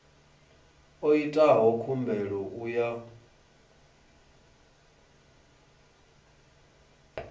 o itaho khumbelo u ya